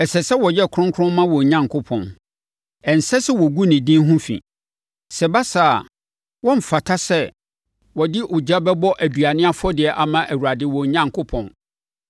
Ɛsɛ sɛ wɔyɛ kronkron ma wɔn Onyankopɔn. Ɛnsɛ sɛ wɔgu ne din ho fi. Sɛ ɛba saa a, wɔremfata sɛ wɔde ogya bɛbɔ aduane afɔdeɛ ama Awurade wɔn Onyankopɔn.